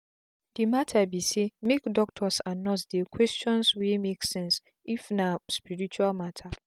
the truth be sayno be everybody belief say wetin dey take treat another person go work for am and nothing bad for there.